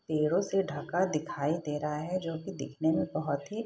पेड़ो से ढ़का दिखाई दे रहा है जो की दिखने में बहुत ही --